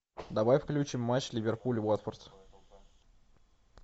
давай включим матч ливерпуль уотфорд